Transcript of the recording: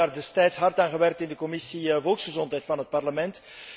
We hebben daar destijds hard aan gewerkt in de Commissie volksgezondheid van het Parlement.